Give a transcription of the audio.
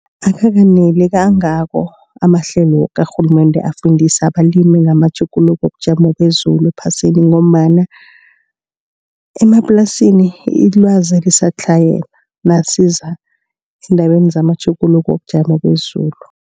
Akakaneli kangako amahlelo karhulumende afundisa abalimi ngamatjhuguluko wobujamo bezulu ephasini ngombana, emaplasini ilwazi lisatlhayela nasiza endabeni ngamatjhuguluko wobujamo bezulu.